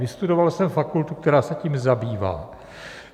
Vystudoval jsem fakultu, která se tím zabývá.